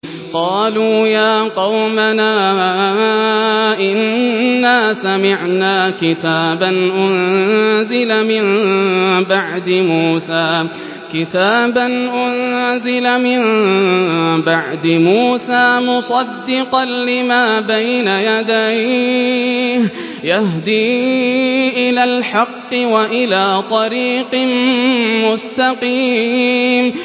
قَالُوا يَا قَوْمَنَا إِنَّا سَمِعْنَا كِتَابًا أُنزِلَ مِن بَعْدِ مُوسَىٰ مُصَدِّقًا لِّمَا بَيْنَ يَدَيْهِ يَهْدِي إِلَى الْحَقِّ وَإِلَىٰ طَرِيقٍ مُّسْتَقِيمٍ